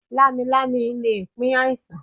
Lámilámi le pín àìsàn.